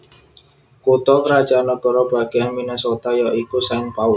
Kutha krajan nagara bagéan Minnesota ya iku Saint Paul